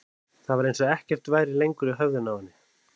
Það var eins og ekkert væri lengur inni í höfðinu á henni.